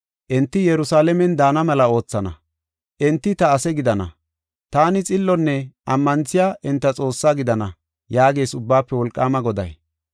Enti Yerusalaamen daana mela oothana. Enti ta ase gidana; taani xillonne ammanthiya enta Xoossaa gidana” yaagees Ubbaafe Wolqaama Goday.